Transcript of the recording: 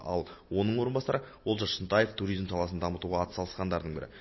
ал оның орынбасары олжас шынтаев туризм саласын дамытуға атсалысқандардың бірі